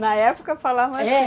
Na época falavam assim? É